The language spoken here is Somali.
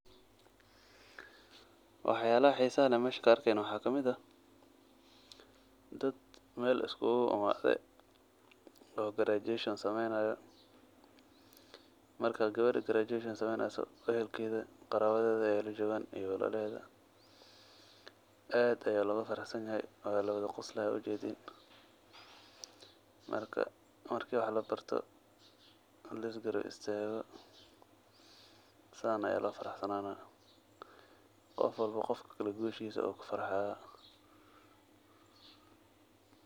Waxyalaxa xisaxa lex mesha kaarkixayno waxa kamid ax, dad mel iskulaimadhe, oo graduation sameynayo, marka gawer graduation sameynayso ehelkedha , qarawadhedha aya lajogan iyo walalahedha, adh aya lagufaraxsanyaxay, wa lawadha qoslixay wadh ujedhin, marka marki wax labarto, o lisgarab istago, san a lofaraxsanana, gofwalbo gofkakale gushisa ayu kufarxaya.